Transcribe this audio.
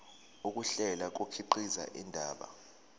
ukuhlela kukhiqiza indaba